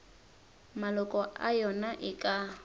maloko a yona e ka